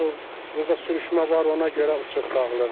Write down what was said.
Axı burda sürüşmə var, ona görə uçub dağılır.